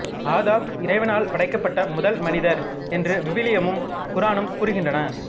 ஆதம் இறைவனால் படைக்கப்பட்ட முதல் மனிதர் என்று விவிலியமும் குரானும் கூறுகின்றன